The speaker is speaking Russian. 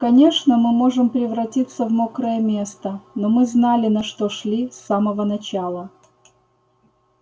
конечно мы можем превратиться в мокрое место но мы знали на что шли с самого начала